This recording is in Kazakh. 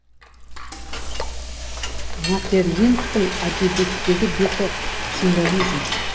метерлинктің әдебиеттегі беті символизм